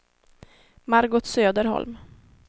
Margot Söderholm